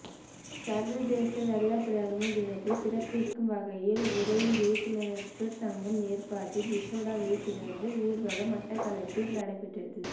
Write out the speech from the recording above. சர்வதேச வெள்ளைப்பிரம்பு தினத்தை சிறப்பிக்கும் வகையில் உதயம் விழிப்புலனற்றோர் சங்கம் ஏற்பாட்டில் விசேட விழிப்புணர்வு ஊர்வலம் மட்டக்களப்பில் நடைபெற்றது